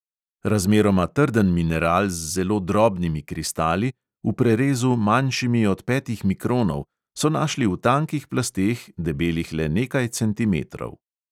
Razmeroma trden mineral z zelo drobnimi kristali, v prerezu manjšimi od petih mikronov, so našli v tankih plasteh, debelih le nekaj centimetrov.